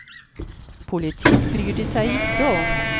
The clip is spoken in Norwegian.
Politikk bryr de seg ikke om.